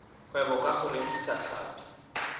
kgwebo ka go rekisa tlhapi